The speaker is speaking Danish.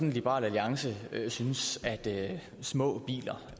at liberal alliance syntes at det var små biler